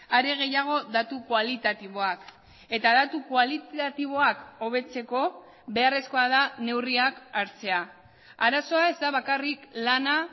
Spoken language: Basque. are gehiago datu kualitatiboak eta datu kualitatiboak hobetzeko beharrezkoa da neurriak hartzea arazoa ez da bakarrik lana